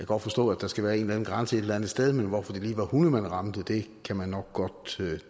godt forstå at der skal være en grænse et eller andet sted men hvorfor det ved hunde man ramte kan man nok godt